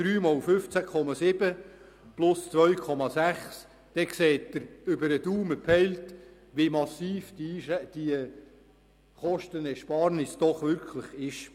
3 × 15,7 + 2,6 –, dann sehen Sie über den Daumen gepeilt, wie massiv diese Kostenersparnis doch wirklich ist.